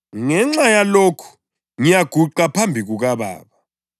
Ngenxa yalokhu ngiyaguqa phambi kukaBaba,